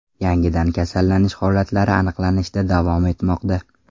Yangidan kasallanish holatlari aniqlanishda davom etmoqda.